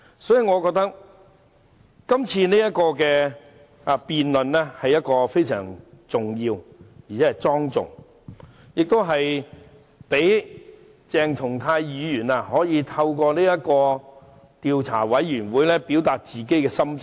所以，我覺得這項議案是非常重要和莊重的，亦可以讓鄭松泰議員透過調查委員會表明心跡。